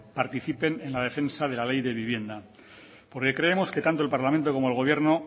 participen en la defensa de la ley de vivienda porque creemos que tanto el parlamento como el gobierno